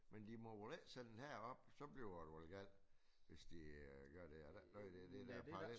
Men de må vel ikke sælge den herop så bliver det vel galt hvis de øh gør det er der ikke noget i dét det der parallelt